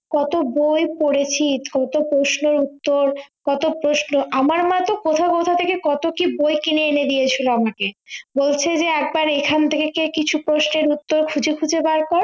কতো বই পড়েছি কতো প্রশ্নের উত্তর কত প্রশ্ন আমার মা তো কোথাও কোথাও থেকে কত কি বই কিনে এনে দিয়েছিলো আমাকে বলছে যে একবার এখন থেকে কে কিছু প্রশ্নের উত্তর খুঁজে খুঁজে বার কর